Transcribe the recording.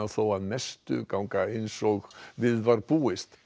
þó að mestu ganga eins og við var búist